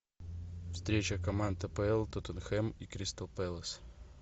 встреча команд апл тоттенхэм и кристал пэлас